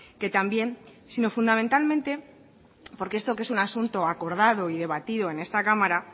que también sino fundamentalmente porque esto que es un asunto acordado y debatido en esta cámara